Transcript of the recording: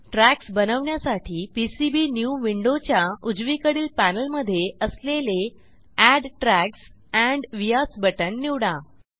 tracksबनवण्यासाठी PCB new विंडोच्या उजवीकडील पॅनेलमधे असलेले add tracks and vias button निवडा